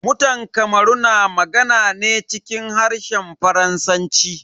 Mutan kamaru na magana ne cikin harshen Faransanci.